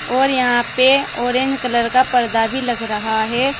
और यहां पे ऑरेंज कलर का पर्दा भी लग रहा है।